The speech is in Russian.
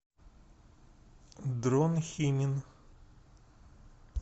дрон химин